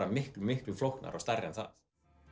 miklu flóknara og stærra en það